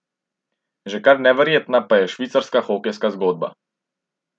Že kar neverjetna pa je švicarska hokejska zgodba.